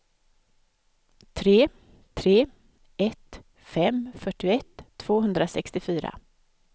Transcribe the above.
tre tre ett fem fyrtioett tvåhundrasextiofyra